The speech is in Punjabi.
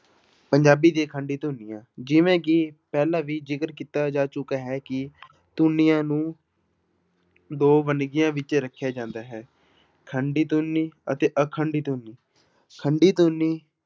ਪੰਜਾਬੀ ਦੀ ਖੰਡੀ ਧੁਨੀਆਂ ਜਿਵੇਂ ਕਿ ਪਹਿਲਾਂ ਵੀ ਜ਼ਿਕਰ ਕੀਤਾ ਜਾ ਚੁੱਕਾ ਹੈ ਕਿ ਧੁਨੀਆਂ ਨੂੰ ਦੋ ਵੰਨਗੀਆਂ ਵਿੱਚ ਰੱਖਿਆ ਜਾਂਦਾ ਹੈ ਖੰਡੀ ਧੁਨੀ ਅਤੇ ਅਖੰਡੀ ਧੁਨੀ, ਖੰਡੀ ਧੁਨੀ